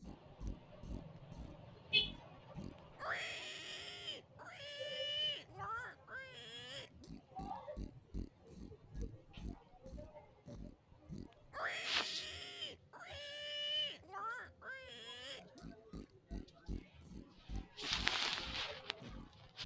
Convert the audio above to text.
Maxaafu dadhamiha ikkiro nafa qorowotenni amadisiisa hasiissanno Maxaafu dadhamiha ikkiro nafa qorowotenni amadisiisa hasiissanno Maxaafu dadhamiha ikkiro nafa qorowotenni amadisiisa.